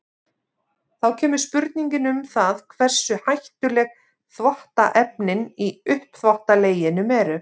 Þá kemur spurningin um það hversu hættuleg þvottaefnin í uppþvottaleginum eru.